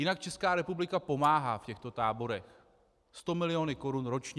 Jinak Česká republika pomáhá v těchto táborech 100 mil. korun ročně.